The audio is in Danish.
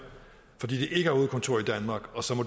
fordi det ikke har hovedkontor i danmark og så må